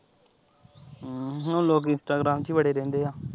ਹੂੰ ਹੁਣ ਲੋਕੀਂ instagram ਚ ਹੀ ਵੜੇ ਰਹਿੰਦੇ ਆ।